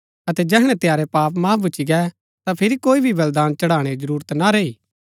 अतै जैहणै तंयारै पाप माफ भुच्‍ची गै ता फिरी कोई भी बलिदान चढ़ाणै री जरूरत ना रैई